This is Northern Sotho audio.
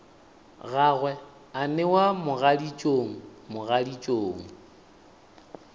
gagwe a newa mogaditšong mogaditšong